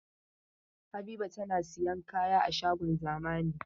Habiba tana sayan kaya a shagon zamani.